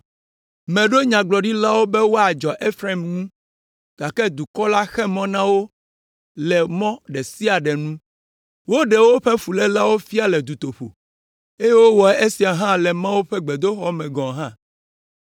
Meɖo nyagblɔɖilawo be woadzɔ Efraim ŋu, gake dukɔ la xe mɔ na wo le mɔ ɖe sia ɖe nu, woɖe woƒe fulélewo fia le dutoƒo, eye wowɔ esia hã le Mawu ƒe gbedoxɔ me gɔ̃ hã.